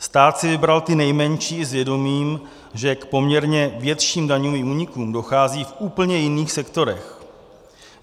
Stát si vybral ty nejmenší s vědomím, že k poměrně větším daňovým únikům dochází v úplně jiných sektorech.